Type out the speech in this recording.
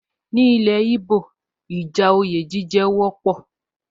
Ọ̀rọ̀ àríyànjiyàn lórí oyè jíjẹ jẹ́ ohun tó wọ́pọ̀ ní ilẹ̀ íbò